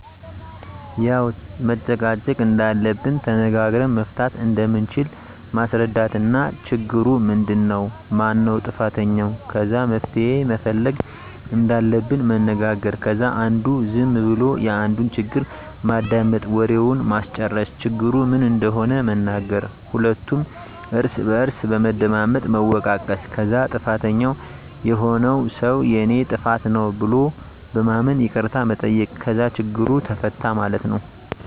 ያዉ መጨቃጨቅ እንደለለብን ተነጋግረን መፍታት እንደምንችል ማስረዳት እና ችግሩ ምንድን ነዉ ? ማነዉ ጥፋተኛዉ? ከዛ መፍትሄ መፈለግ እንዳለብን መነጋገር ከዛ አንዱ ዝም ብሎ የአንዱን ችግር ማዳመጥ፣ ወሬዉን ማስጨረስ፣ ችግሩ ምን እንደሆነ መናገር ሁለቱም እርስ በርስ በመደማመጥ መወቃቀስ ከዛ ጥፋተኛዉ የሆነዉ ሰዉ የኔ ጥፋት ነዉ ብሎ በማመን ይቅርታ መጠየቅ ከዛ ችግሩ ተፈታ ማለት ነዉ።